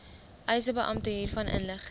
eisebeampte hiervan inlig